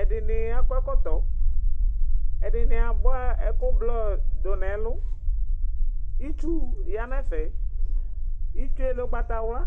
edini akɔ ɛkɔtɔ, ɛdini abʋa ɛku blɔ du nu ɛlu, itsu ya nu ɛfɛ, itsue lɛ ugbata wla